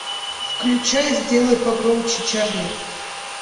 включай сделай погромче чарли